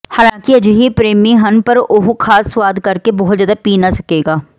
ਹਾਲਾਂਕਿ ਅਜਿਹੇ ਪ੍ਰੇਮੀ ਹਨ ਪਰ ਉਹ ਖਾਸ ਸੁਆਦ ਕਰਕੇ ਬਹੁਤ ਜ਼ਿਆਦਾ ਪੀ ਨਾ ਸਕੇਗਾ